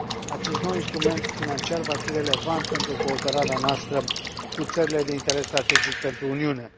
acest nou instrument financiar va fi relevant pentru cooperarea noastră cu țările de interes strategic pentru Uniune.